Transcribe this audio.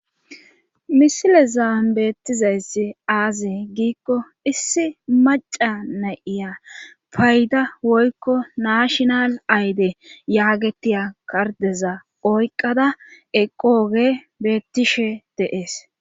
Misile zaa beettizayssi aaze giikko issi maca na7iya payda woykko naashinal ayde yaagettiya kardeza oyqqada eqooge beettishe de7ees.